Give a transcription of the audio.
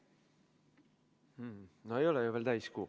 No ei ole ju veel täiskuu.